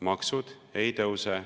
Maksud ei tõuse.